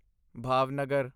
Bhavnagar